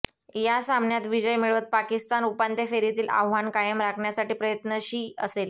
या सामन्यात विजय मिळवत पाकिस्तान उपांत्य फेरीतील आव्हान कायम राखण्यासाठी प्रयत्नशी असेल